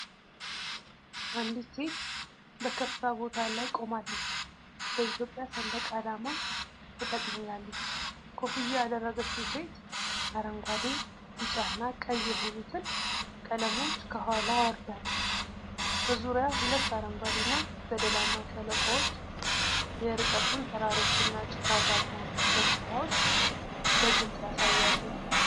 አንዲት ሴት በከፍታ ቦታ ላይ ቆማለች፤ በኢትዮጵያ ሰንደቅ ዓላማ ተጠቅልላለች። ኮፍያ ያደረገችው ሴት አረንጓዴ፣ ቢጫና ቀይ የሆኑትን ቀለሞች ከኋላዋ አውርዳለች። በዙሪያዋ ሁለት አረንጓዴና ገደላማ ሸለቆዎች የርቀቱን ተራሮችና ጭጋጋማ ገጽታዎች በግልጽ ያሳያሉ።